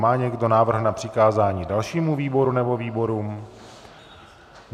Má někdo návrh na přikázání dalšímu výboru nebo výborům?